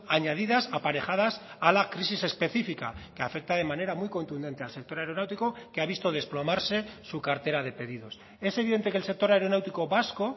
añadidas aparejadas a la crisis específica que afecta de manera muy contundente al sector aeronáutico que ha visto desplomarse su cartera de pedidos es evidente que el sector aeronáutico vasco